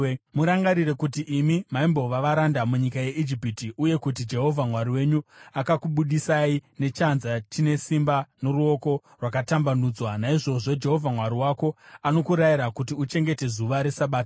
Murangarire kuti imi maimbova varanda munyika yeIjipiti uye kuti Jehovha Mwari wenyu akakubudisai nechanza chine simba noruoko rwakatambanudzwa. Naizvozvo Jehovha Mwari wako anokurayira kuti uchengete zuva reSabata.